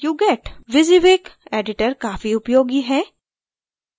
wysiwyg editor काफी उपयोगी है